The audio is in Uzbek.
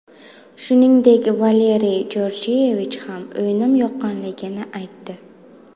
Shuningdek, Valeriy Georgiyevich ham o‘yinim yoqqanligini aytdi.